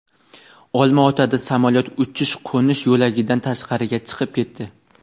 Olmaotada samolyot uchish-qo‘nish yo‘lagidan tashqariga chiqib ketdi.